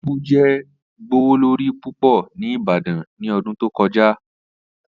Apu jẹ gbowolori pupọ ni ibadan ni ọdun to kọja.